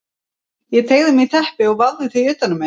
Ég teygði mig í teppi og vafði því utan um mig.